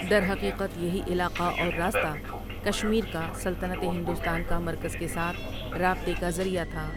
درحقیقت یہی علاقہ اور راستہ کشمیر کا سلطنت ہندوستان کا مرکز کے ساتھ رابطے کا ذریعہ تھا ۔